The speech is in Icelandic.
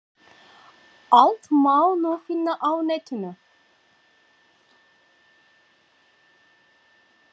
Allt má nú finna á netinu!